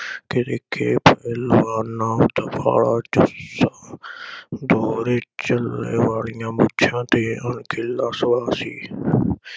ਤਰੀਕੇ ਬਦਲਵਾਨਾ, ਦਫਾ ਦੋਹਰੇ ਚਿੱਲੇ ਵਾਲੀਆਂ ਮੁੱਛਾਂ ਤੇ ਸੋਹਣਾ ਸੀ ।